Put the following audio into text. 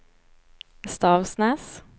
Stavsnäs